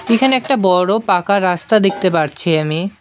এখানে একটা বড়ো পাকা রাস্তা দেখতে পারছি আমি।